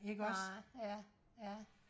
nej ja ja